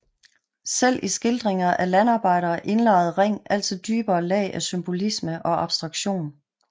Selv i skildringer af landarbejdere indlejrede Ring altid dybere lag af symbolisme og abstraktion